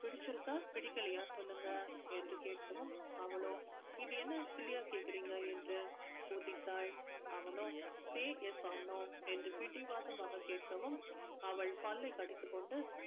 பிடிச்சிருக்கா பிடிக்கலையா சொல்லுங்க என்று கேட்கவும் அவளோ இது என்ன silly யா கேட்குறீங்க என்று கொதித்தாள் அவனோ say yes or no என்று பிடிவாதமாக கேட்கவும் அவள் பல்லை கடித்துக்கொண்டு